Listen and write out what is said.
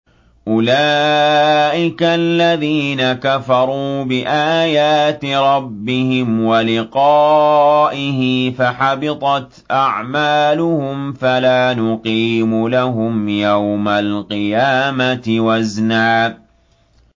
أُولَٰئِكَ الَّذِينَ كَفَرُوا بِآيَاتِ رَبِّهِمْ وَلِقَائِهِ فَحَبِطَتْ أَعْمَالُهُمْ فَلَا نُقِيمُ لَهُمْ يَوْمَ الْقِيَامَةِ وَزْنًا